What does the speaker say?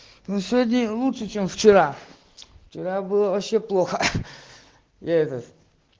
ну сегодня лучше чем вчера вчера было вообще плохо я этот